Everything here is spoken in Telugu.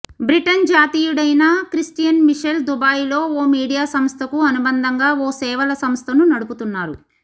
బ్రిటన్ జాతీయుడైన క్రిస్టియన్ మిషెల్ దుబాయిలో ఓ మీడియా సంస్థకు అనుబంధంగా ఓ సేవల సంస్థను నడుపుతున్నారు